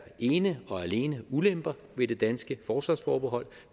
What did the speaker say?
ene og alene er ulemper ved det danske forsvarsforbehold